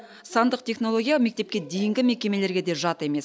сандық технология мектепке дейінгі мекемелерге де жат емес